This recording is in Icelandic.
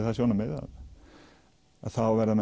það sjónarmið að þá verður